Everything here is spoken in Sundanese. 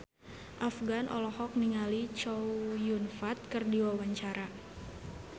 Afgan olohok ningali Chow Yun Fat keur diwawancara